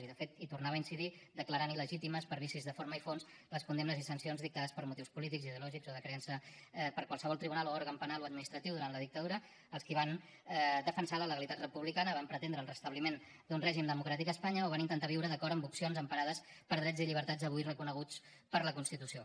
i de fet hi tornava a incidir declarant il·legítimes per vicis de forma i fons les condemnes i sancions dictades per motius polítics ideològics o de creença per qualsevol tribunal o òrgan penal o administratiu durant la dictadura als qui van defensar la legalitat republicana van pretendre el restabliment d’un règim democràtic a espanya o van intentar viure d’acord amb opcions emparades per drets i llibertats avui reconeguts per la constitució